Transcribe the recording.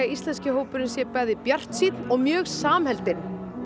íslenski hópurinn sé bæði bjartsýnn og mjög samheldinn